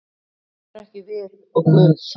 Það erum ekki við og Guð.